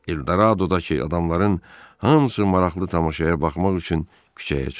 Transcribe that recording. Eldorado dakı adamların hamısı maraqlı tamaşaya baxmaq üçün küçəyə çıxdı.